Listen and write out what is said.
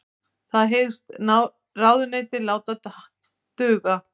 Það hyggst ráðuneytið láta duga